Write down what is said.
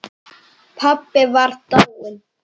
Pabbi var dáinn.